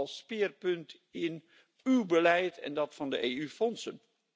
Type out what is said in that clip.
als speerpunt in uw beleid en dat van de EU fondsen.